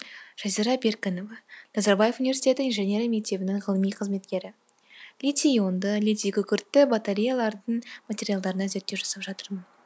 жазира беркінова назарбаев университеті инженерия мектебінің ғылыми қызметкері литий ионды литий күкіртті батареялардың материалдарына зерттеу жасап жатырмын